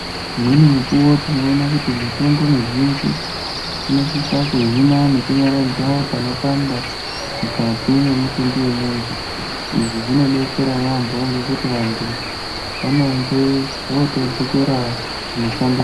Imweni mukuwo tinoona kuti mitombo mizhinji inosisa kuhina nekunyaradza panopanda mukati mwemutumbi wemuntu, izvi zvinodetsera yaambo ngekuti vantu vanenge votodzokera kumishando.